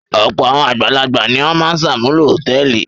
Ọ̀pọ̀ àwọn àgbàlagbà ni ó máa ń ṣàmúlò hòtẹ́ẹ́lì.